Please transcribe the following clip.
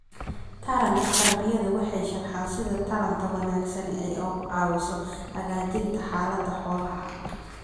Taranka tarbiyada waxay sharxaan sida taranta wanaagsani ay uga caawiso hagaajinta xaalada xoolaha.